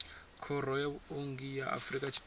khoro ya vhuongi ya afrika tshipembe